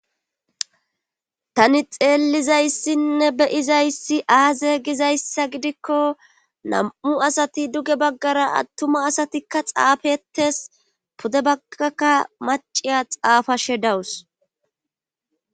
Tani xeellizayssinne beyizayssi aaze gizayssa gidikko nam7u asati duge baggara attuma asatikka xaafetes pude baggakka maciya xaafashe dawus.